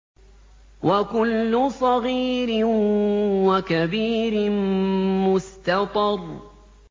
وَكُلُّ صَغِيرٍ وَكَبِيرٍ مُّسْتَطَرٌ